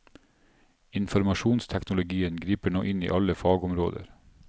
Informasjonsteknologien griper nå inn i alle fagområder.